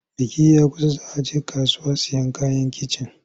Biki ya kusa za a je kasuwa sayen kayan kicin.